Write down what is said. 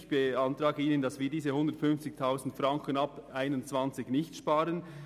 Ich beantrage Ihnen, diese 150 000 Franken ab 2021 nicht zu sparen.